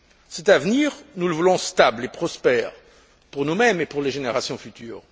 Cet avenir, nous le voulons stable et prospère pour nous mêmes et pour les générations futures.